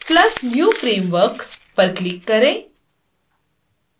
plus new framework पर click करें